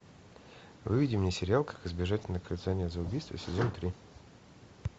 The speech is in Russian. выведи мне сериал как избежать наказания за убийство сезон три